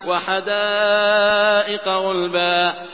وَحَدَائِقَ غُلْبًا